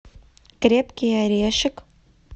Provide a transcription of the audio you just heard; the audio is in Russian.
крепкий орешек